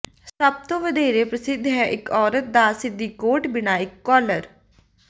ਸਭ ਤੋਂ ਵਧੇਰੇ ਪ੍ਰਸਿੱਧ ਹੈ ਇੱਕ ਔਰਤ ਦੀ ਸਿੱਧੀ ਕੋਟ ਬਿਨਾਂ ਇੱਕ ਕਾਲਰ